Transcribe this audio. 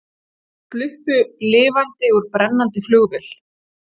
Sluppu lifandi úr brennandi flugvél